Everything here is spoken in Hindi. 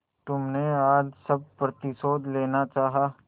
तुमने आज सब प्रतिशोध लेना चाहा